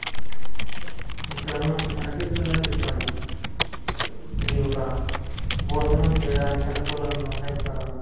ఇక్కడ మనకు కనిపిస్తున్న చిత్రము ఇది ఒక భోజనం చేయడానికి అనుకూలంగా ఉండే స్థలము.